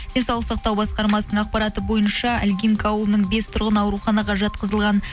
денсаулық сақтау басқармасының ақпараты бойынша илгинка ауылының бес тұрғыны ауруханаға жатқызылған